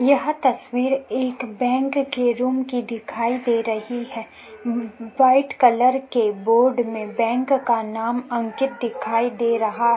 यह तस्वीर एक बैंक के रूम की दिखाई दे रही है वाइट कलर के बोर्ड में बैंक का नाम अंकित दिखाई दे रहा --